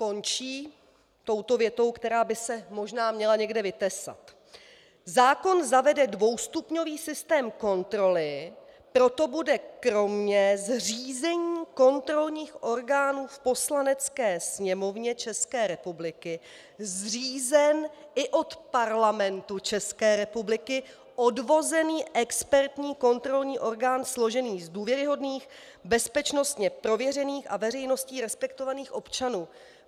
Končí touto větou, která by se možná měla někde vytesat: Zákon zavede dvoustupňový systém kontroly, proto bude kromě zřízení kontrolních orgánů v Poslanecké sněmovně České republiky zřízen i od Parlamentu České republiky odvozený expertní kontrolní orgán složený z důvěryhodných, bezpečnostně prověřených a veřejností respektovaných občanů.